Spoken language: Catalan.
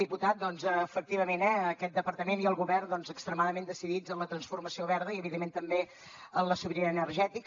diputat doncs efectivament eh aquest departament i el govern extremadament decidits en la transformació verda i evidentment també en la sobirania energètica